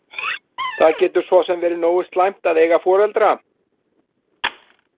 Það getur svo sem verið nógu slæmt að eiga foreldra.